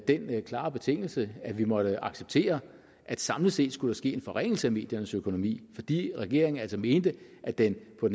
den klare betingelse at vi måtte acceptere at samlet set skulle der ske en forringelse af mediernes økonomi fordi regeringen altså mente at den kunne